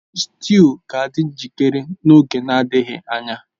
Stew ga-adị njikere n'oge adịghị anya